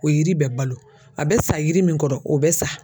O yiri bɛ balo a bɛ sa yiri min kɔrɔ o bɛ sa